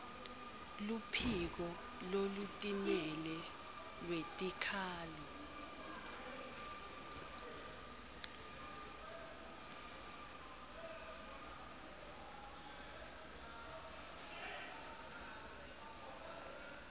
luphiko lolutimele lwetikhalo